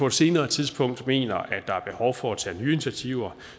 et senere tidspunkt mener at der er behov for at tage nye initiativer